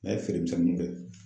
N'a ye feeremisɛnninw kɛ